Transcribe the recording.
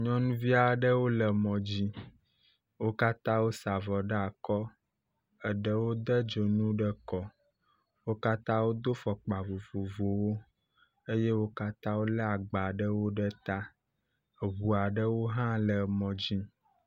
Nyɔnuvi aɖewo le mɔdzi, wo katã wosa avɔ ɖe akɔ. Eɖewo de dzonu ɖe kɔ, wo katã wodo fɔkpa vovovowo eye wo katã wole agba ɖewo ɖe ta, eʋu aɖewo hã le mɔdzi.